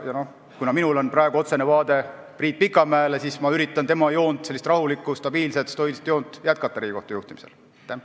Kuna minul on praegu otsene vaade Priit Pikamäele, siis ma ütlen, et üritan Riigikohtu juhtimisel jätkata tema rahulikku, stabiilset ja stoilist joont.